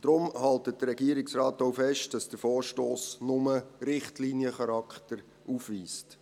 Deshalb hält der Regierungsrat auch fest, dass der Vorstoss nur Richtliniencharakter aufweist.